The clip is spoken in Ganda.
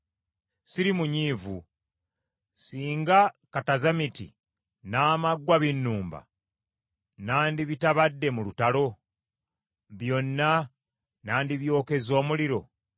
Siri munyiivu. Singa katazamiti n’amaggwa binnumba, nandibitabadde mu lutalo? Byonna nandibyokezza omuliro.